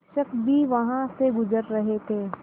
शिक्षक भी वहाँ से गुज़र रहे थे